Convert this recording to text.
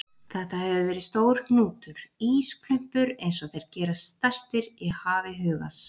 Þetta hefur verið stór hnútur, ísklumpur einsog þeir gerast stærstir í hafi hugans.